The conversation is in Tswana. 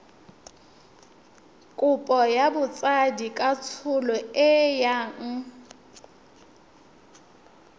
kopo ya botsadikatsholo e yang